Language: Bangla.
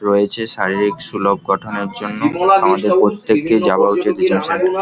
রয়েছে শারীরিক সুলভ গঠনের জন্য আমাদের প্রত্যেককে যাওয়া উচিৎ --